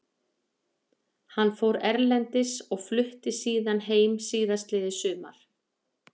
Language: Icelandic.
Hann fór erlendis og flutti síðan heim síðastliðið sumar.